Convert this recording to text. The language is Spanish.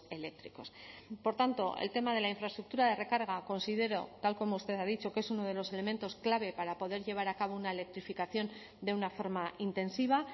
eléctricos por tanto el tema de la infraestructura de recarga considero tal como usted ha dicho que es uno de los elementos clave para poder llevar a cabo una electrificación de una forma intensiva